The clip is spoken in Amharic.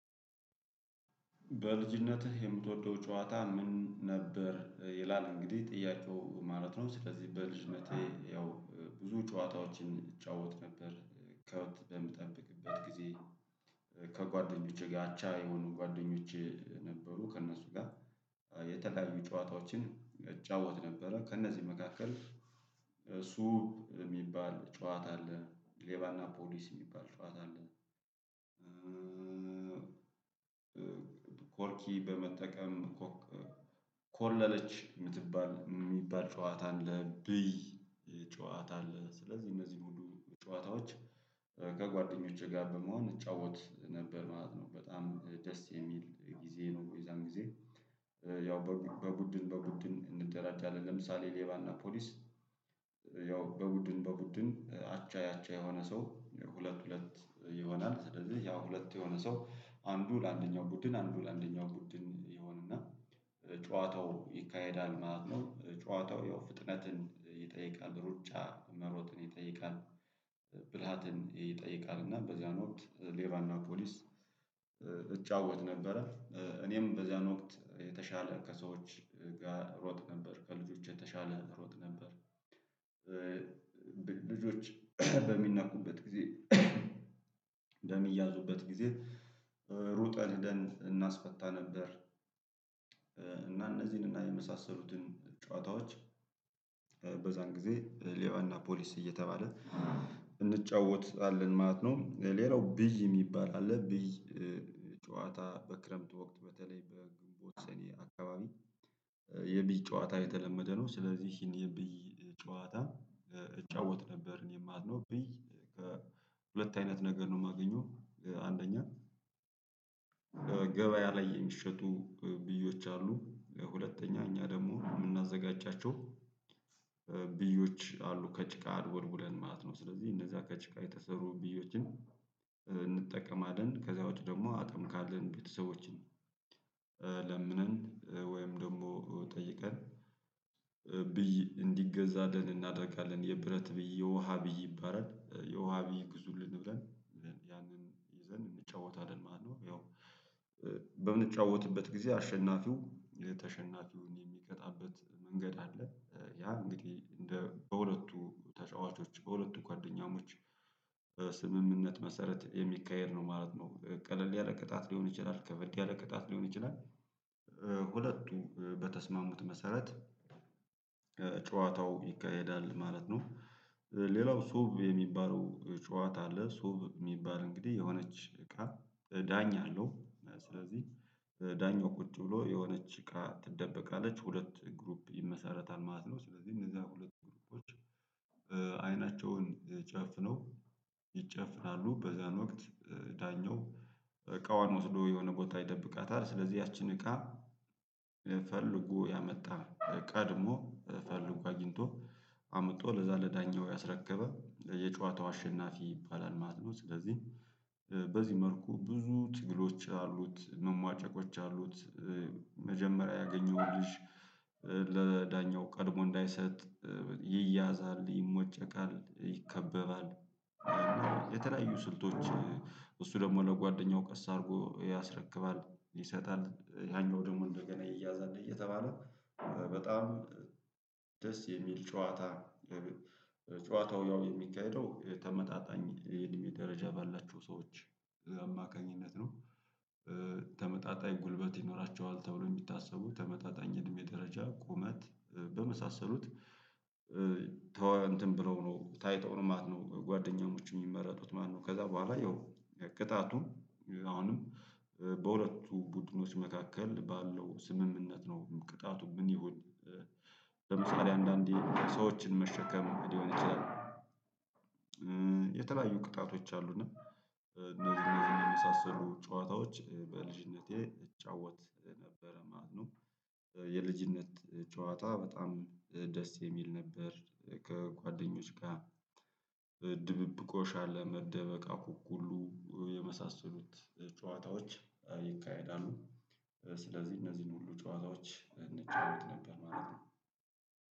በልጅነትህ የምትወደው ጨዋታ ምን ነበር? ይላል እንግዲህ ጥያቄው ማለት ነው። ስለዚህ በልጅነቴ ያው ብዙ ጨዋታዎችን እጫወት ነበር ከብት በምጠብቅበት ጊዜ። ከጓደኞቼ ጋር አቻ የሆኑ ጓደኞቼ ነበሩ ከእነሱ ጋር። የተለያዩ ጨዋታዎችን እጫወት ነበረ ከእነዚህ መካከል። ሱ የሚባል ጨዋታ አለ ሌባና ፖሊስ የሚባል ጨዋታ አለ። ኮርኪ በመጠቀም ኮለለች የምትባል የሚባል ጨዋታ አለ ብይ ጨዋታ አለ ስለዚህ እነዚህ ሁሉ ጨዋታዎች። ከጓደኞቼ ጋር በመሆን እጫወት ነበር ማለት ነው። በጣም ደስ የሚል ጊዜ ነው የዛን ጊዜ። ያው በቡድን በቡድን እንደራጃለን ለምሳሌ ሌባና ፖሊስ። ያው በቡድን በቡድን። ያቻ የሆነ ሰው ሁለት ሁለት ይሆናል ስለዚህ ያ ሁለት የሆነ ሰው አንዱ ለአንደኛው ቡድን አንዱ ለአንደኛው ቡድን ይሆን እና ጨዋታው ይካሄዳል ማለት ነው። ጨዋታው ያው ፍጥነትን ይጠይቃል ሩጫ መሮጥን ይጠይቃል። ብልሃትን ይጠይቃል እና በዚያን ወቅት ሌላና ፖሊስ እጫወት ነበረ። እኔም በዚያን ወቅት የተሻለ ከሰዎች ጋር እሮጥ ነበር ከልጆች የተሻለ ሮጥ ነበር። ልጆች በሚነኩበት ጊዜ በሚያዙበት ጊዜ። ሩጠን እናስፈታ ነበር። እና እነዚህን እና የመሳሰሉትን ጨዋታዎች። ጊዜ ሌዋና ፖሊስ እየተባለ እንጫወትላለን ማለት ነው። ሌላው ብይ የሚባል አለ ብይ። ጨዋታ በክረምት ወቅት በተለይ በግንቦት ሰኔ አካባቢ። የብይ ጨዋታ የተለመደ ነው። ስለዚህ ይሄን የብይ ጨዋታ እጫወት ነበር እኔ ማለት ነው ብይ ከሁለት አይነት ነገር ነው የማገኘው። አንደኛ ገበያ ላይ የሚሸጡ ብዮች አሉ። ለሁለተኛ እኛ ደግሞ የምናዘጋጃቸው ብዮች አሉ። ከጭቃ አድቦልቡለን ማለት ነው። ስለዚህ እነዛ ከጭቃ የተሰሩ ብዮችን እንጠቀማለን ከዛ ውጪ ደግሞ አቅም ካለን ቤተሰቦችን ለምነን ወይም ደግሞ ጠይቀን ብይ እንዲገዛልን እናደርጋለን። የብረት ብዬ ውሃ ብይ ይባላል የውሃ ብይ ግዙልን ብለን። ያንን ይዘን እንጫወታለን ማለት ነው። ያው በምንጫወትበት ጊዜ አሸናፊው የተሸናፊውን የሚቀጣበት መንገድ አለ። ያ እንግዲህ እንደ በሁለቱ ተጫዋቾች በሁለቱ ጓደኛሞች ስምምነት መሰረት የሚካሄድ ነው ማለት ነው። ቀለል ያለ ቅጣት ሊሆን ይችላል ከበርድ ያለ ቅጣት ሊሆን ይችላል። ሁለቱ በተስማሙት መሰረት። ጨዋታው ይካሄዳል ማለት ነው። ሌላው ሶብ የሚባለው ጨዋታ አለ። ሶቭ የሚባል እንግዲህ የሆነች እቃ ዳኛ አለው። ስለዚህ ዳኛው ቁጭ ብሎ የሆነች እቃ ትደበቃለች። ሁለት ግሩፕ ይመሰረታል ማለት ነው። ስለዚህ እነዛ ሁለቱ ግሩፖች። አይናቸውን ጨፍነው ይጨፍናሉ በዛን ወቅት ዳኛው እቃዋን ወስዶ የሆነ ቦታ ይደብቃታል። ስለዚህ ያችን እቃ። ፈልጎ ያመጣ ቀድሞ ፈልጎ አግኝቶ አምጦ ለዛ ለዳኛው ያስረከበ የጨዋታው አሸናፊ ይባላል ማለት ነው። ስለዚህ በዚህ መልኩ ብዙ ትግሎች አሉት መሟጨቆች አሉት። መጀመሪያ ያገኘሁልሽ ለዳኛው ቀድሞ እንዳይሰጥ ይያዛል ይሞጨቃል ይከበባል። የተለያዩ ስልቶች። ደግሞ ለጓደኛው ቀስ አድርጎ ያስረክባል ይሰጣል ያኛው ደግሞ እንደገና ይያዛል እየተባለ። በጣም ደስ የሚል ጨዋታ። ጨዋታው ያው የሚካሄደው ተመጣጣኝ የእድሜ ደረጃ ባላቸው ሰዎች አማካኝነት ነው። ተመጣጣኝ ጉልበት ይኖራቸዋል ተብሎ የሚታሰቡ ተመጣጣኝ እድሜ ደረጃ ቁመት በመሳሰሉት። ተወ እንትን ብለው ነው ታይተው ነው ማለት ነው። ጓደኛሞች የሚመረጡት ማነው? ከዛ በኋላ ያው ቅጣቱን አሁንም በሁለቱ ቡድኖች መካከል ባለው ስምምነት ነው። ቅጣቱ ምን ይሁን? ለምሳሌ አንዳንዴ ሰዎችን መሸከም ሊሆን ይችላል። የተለያዩ ቅጣቶች አሉና። እነዚህ እነዚህን የመሳሰሉ ጨዋታዎች በልጅነቴ እጫወት ነበረ ማለት ነው። የልጅነት ጨዋታ በጣም ደስ የሚል ነበር። ከጓደኞች ጋር ድብብቆ ሻለ መደበቅ አኩኩሉ የመሳሰሉት ጨዋታዎች ይካሄዳሉ። ስለዚህ እነዚህን ሁሉ ጨዋታዎች እንጫወት ነበር ማለት ነው።